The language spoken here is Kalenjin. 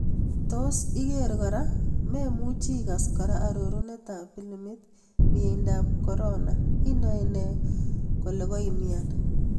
Tos iker kora: Maemuchi ikas kora arorunet ab pilimit, miendo ab Corona: Inaene kole koimnyan